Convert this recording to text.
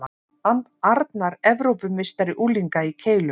Arnar Evrópumeistari unglinga í keilu